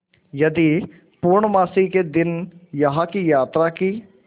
यदि पूर्णमासी के दिन यहाँ की यात्रा की